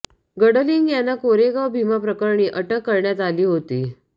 गडलिंग यांना कोरेगाव भीमा प्रकरणी अटक करण्यात आली होती